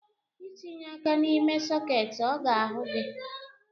Itinye aka n’ime soketị ọ ga-ahụ gị